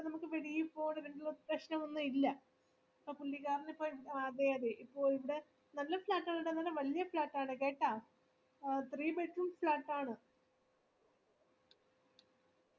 അതിപ്പോ നമക്ക് വെളിയിൽ പൊന്ന് പ്രശനം ഒന്നുമില്ല അപ്പൊ പുള്ളികാരനിപ്പോ അതെ അതെ ഇപ്പോ ഇവിടെ നല്ല flat ആണ് ഇവിടെ വലിയ flat ആണ് കേ അഹ് three bedroom flat ആണ്